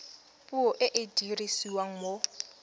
puo e e dirisiwang mo